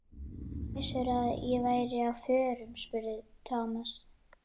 Hvernig vissirðu að ég væri á förum? spurði Thomas.